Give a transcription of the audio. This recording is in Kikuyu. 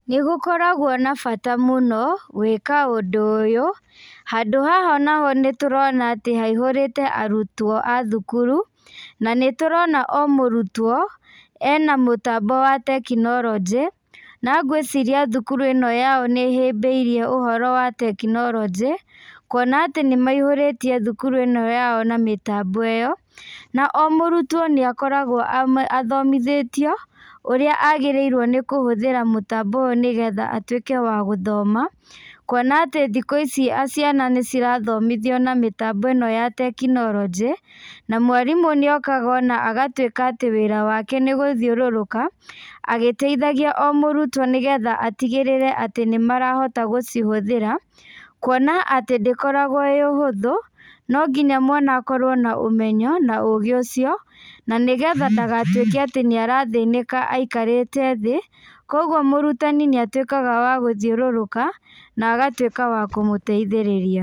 Nĩ gũkaragwo na bata mũno, gwĩka ũndũ ũyũ. Handũ haha naho nĩ tũrona atĩ haihũrĩte arutwo a thukuru, na nĩ tũrona o mũrutwo, ena mũtambo wa tekinoronjĩ. Na ngwĩciria thukuru ĩno yao nĩ ĩhĩmbĩirie ũhoro wa tekinoronjĩ, kuona atĩ nĩ maihũrĩtie thukuru ĩno yao na mĩtambo ĩyo, na o mũrutwo nĩ akoragwo athomithĩtio, ũrĩa agĩrĩirwo nĩ kũhũthĩra mũtambo ũyũ nĩgetha atuĩke wa gũthoma, kuona atĩ thikũ ici ciana nĩ cirathomithio na mĩtambo ĩno ya tekinoronjĩ, na mwarimũ nĩ okaga ona agatuĩka atĩ wĩra wake nĩ gũthiũrũrũka, agĩteithagia o mũrutwo nĩgetha atigĩrĩre atĩ nĩ marahota gũcihũthĩra, kuona atĩ ndĩkoragwo ĩĩ ũhũthũ, no nginya mwana akorwo na ũmenyo, na ũũgĩ ũcio, na nĩgetha ndagatuĩke atĩ nĩ arathĩnĩka aikarĩte thĩ. Kũguo mũrutani nĩ atuĩkaga wa gũthiũrũrũka, na agatuĩka wa kũmũteithĩrĩria.